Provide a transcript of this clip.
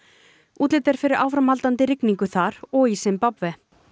útlit er fyrir áframhaldandi rigningu þar og í Simbabve